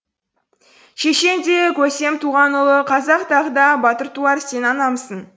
шешен де көсем туған ұлы қазақ тағы да батыр туар сен анамсың